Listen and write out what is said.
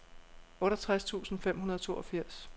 otteogtres tusind fem hundrede og toogfirs